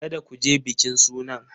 Kada ku je bikin sunan!